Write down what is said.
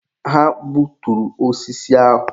Ha gbuturu osisi ahụ.